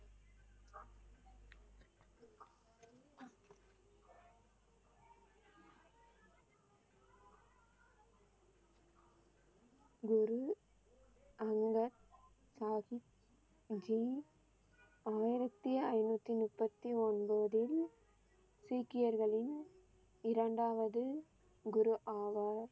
குரு அங்கத் சாகிப் ஜி ஆயிரத்தி ஐநூத்தி முப்பத்தி ஒன்போதில் சீக்கியர்களின் இரண்டாவது குரு ஆவார்.